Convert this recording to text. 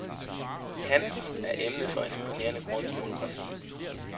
Hansen er emnet for en imponerende grundig monografi.